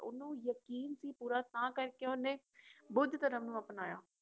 ਓਹਨੂੰ ਯਕੀਨ ਸੀ ਪੂਰਾ ਤਾਂ ਕਰਕੇ ਓਹਨੇ ਬੁੱਧ ਧਰਮ ਨੂੰ ਅਪਨਾਇਆ